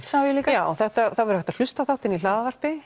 líka já það er hægt að hlusta á þáttinn í